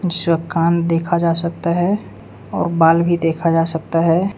अच्छा कान देखा जा सकता है और बाल भी देखा जा सकता है।